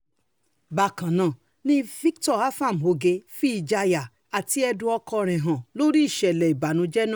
bákan náà ni victor afam oge fi ìjayà àti ẹ̀dùn ọkàn ẹ̀ hàn lórí ìṣẹ̀lẹ̀ ìbànújẹ́ náà